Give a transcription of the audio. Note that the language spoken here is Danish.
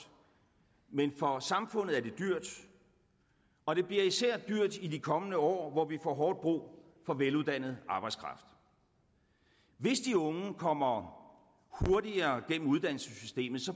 men for samfundet er det dyrt og det bliver især dyrt i de kommende år hvor vi får hårdt brug for veluddannet arbejdskraft hvis de unge kommer hurtigere gennem uddannelsessystemet